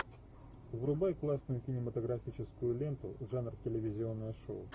врубай классную кинематографическую ленту жанр телевизионное шоу